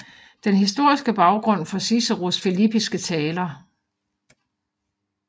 Den historiske Baggrund for Ciceros filippiske Taler